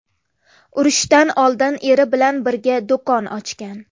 Urushdan oldin eri bilan birga do‘kon ochgan.